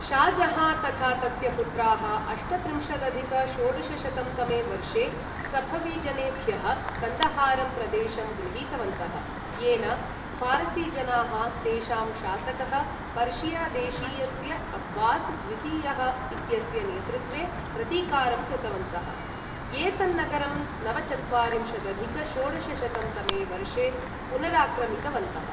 शाह् जहाँ तथा तस्य पुत्राः अष्टत्रिंशदधिक षोडशशतं तमे वर्षे सफवी जनेभ्यः कन्दहारं प्रदेशं गृहीतवन्तः, येन फारसी जनाः तेषां शासकः पर्शिया देशीयस्य अब्बास् द्वितीयः इत्यस्य नेतृत्वे प्रतीकारं कृतवन्तः, ये तन्नगरं नवचत्वारिंशदधिक षोडशशतं तमे वर्षे पुनराक्रमितवन्तः।